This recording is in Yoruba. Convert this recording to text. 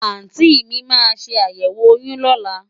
Àùntí mi máa ṣe àyẹ̀wò oyún lọ́la.